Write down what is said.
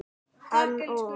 Hann og